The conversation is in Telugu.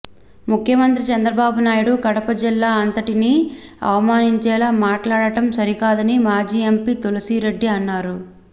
ముఖ్యమంత్రి చంద్రబాబు నాయుడు కడప జిల్లా అంతటిని అవమానించేలా మాట్లాడడం సరికాదని మాజీ ఎంపీ తులసిరెడ్డి అన్నారు